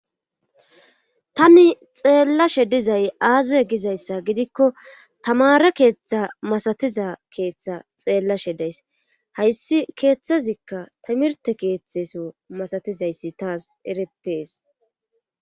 Tani xeellashe dizay aaze gizayssa gidikko tamara keeththa masatiza keeththa xeellashe days hayssi keeththazikka timirte keeththeso masatizayssi taas eretees.